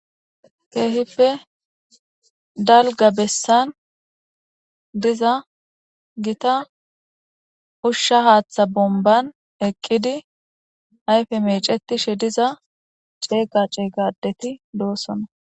keehippe dalga bessan diza gita ushsha haaththa bomban eqqidi ayfe mecetishe diza cegga ceega adeti doossona